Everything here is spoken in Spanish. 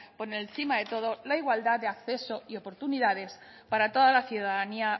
por encima de todo la igualdad de acceso y oportunidades para toda la ciudadanía